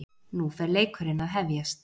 Nú er fer leikurinn að hefjast